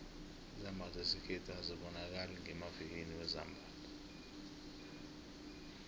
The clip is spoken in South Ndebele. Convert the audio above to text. izambatho zesikhethu azibonakali ngemavikilini wezambatho